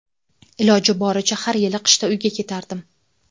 Iloji boricha har yil qishda uyga ketardim.